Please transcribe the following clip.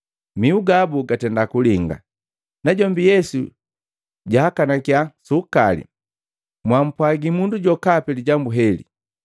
Mihu gabu gatenda kulinga. Najombi Yesu jaakanakia suukali, “Mwampwagi mundu jokapi lijambu leheli.”